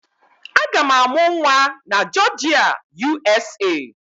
Aga m amụ nwa na Jọọjịa, USA